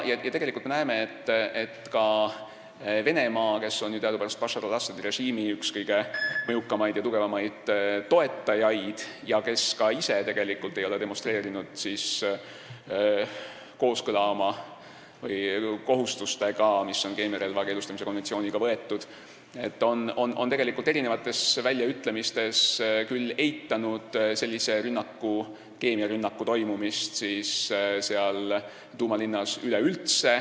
Tegelikult on Venemaa, kes on ju teadupärast Bashar al-Assadi režiimi üks mõjukamaid ja tugevamaid toetajaid ning kes ei ole ka ise demonstreerinud kooskõla nende kohustustega, mis nad on keemiarelva keelustamise konventsiooniga võtnud, oma väljaütlemistes üleüldse eitanud keemiarünnaku toimumist seal Douma linnas.